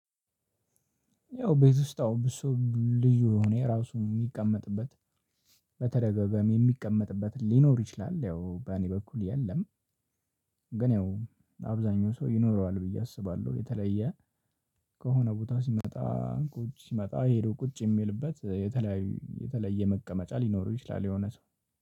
ያው ቤት ውስጥ አሁን ብዙ ልዩ የሆነ ራሱ የሚቀመጥበት በተደገገሚ የሚቀመጥበት ሊኖር ይችላል ያው በእኔ በኩል የለም። ግን ያው አብዛኛው ሰው ይኖረዋል ብዬ አስባለሁ። የተለየ ከሆነ ቦታ ሲመጣ ቁጭ ሲመጣ ይሄዱ ቁጭ የሚልበት የተለየ የተለየ መቀመጫ ሊኖሩ ይችላሉ የሆነ ሰው።